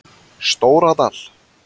Stóradal